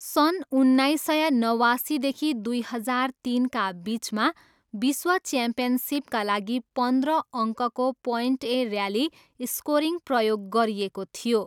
सन् उन्नाइस सय नवासीदेखि दुई हजार तिनका बिचमा विश्व च्याम्पियनसिपका लागि पन्ध्र अङ्कको प्वाइन्ट ए ऱ्याली स्कोरिङ प्रयोग गरिएको थियो।